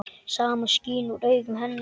Samúð skín úr augum hennar.